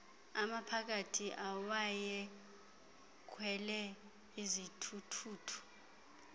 amaphakathi awayekhwele izithuthuthu